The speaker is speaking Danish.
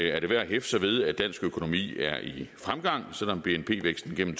er det værd at hæfte sig ved at dansk økonomi er i fremgang selv om bnp væksten gennem